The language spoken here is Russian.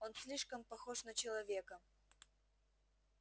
он слишком похож на человека